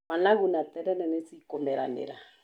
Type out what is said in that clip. Managu na terere nĩ cikũmeranĩra